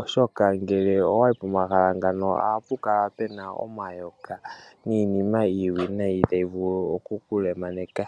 Oshoka ngele owayi pomahala ngano ohapu kala pena omayoka niinima iiwinayi tayi vulu oku kulemaneka.